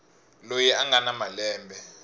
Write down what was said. loyi a nga na malembe